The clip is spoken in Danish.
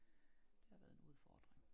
Det har været en udfordring